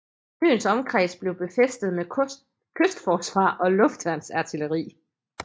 Øens omkreds blev befæstet med kystforsvar og luftværnsartilleri